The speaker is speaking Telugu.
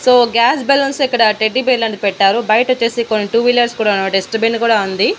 సో గ్యాస్ బెలూన్స్ ఇక్కడ టెడ్డీబేర్ లాంటిది పెట్టారు బయట వచ్చేసి కొన్ని టూ వీలర్స్ కూడా డస్ట్ బిన్ కూడా ఉంది.